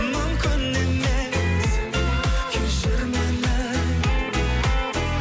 мүмкін емес кешір мені